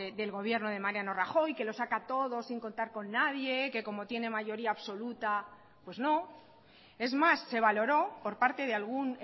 del gobierno de mariano rajoy que lo saca todo sin contar con nadie que como tiene mayoría absoluta pues no es más se valoró por parte de algún